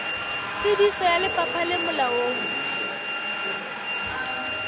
tsebiso ya lefapha le molaong